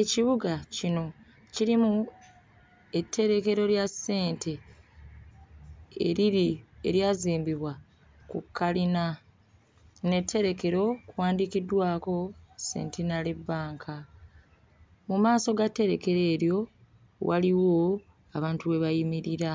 Ekibuga kino kirimu etterekero lya ssente eriri eryazimbibwa ku kkalina n'etterekero kuwandiikiddwako Centenary Bank. Mu maaso ga tterekero eryo waliwo abantu we bayimirira